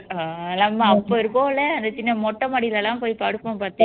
அப்ப இருக்கோம்ல சின்ன மொட்டை மாடியில எல்லாம் போய் படுப்போம் பாத்தியா